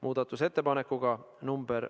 Austatud Riigikogu!